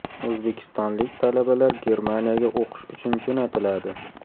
O‘zbekistonlik talabalar Germaniyaga o‘qish uchun jo‘natiladi.